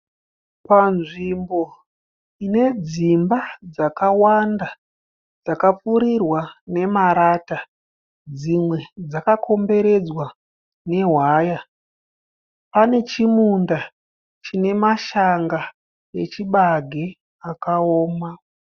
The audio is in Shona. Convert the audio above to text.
Panzvimbo ine dzimba dzakawanda . Dzakapfirirwa nemarata. Dzimwe dzakakomberedzwa newaya. Panechimunda chinemashanga echibage akaoma.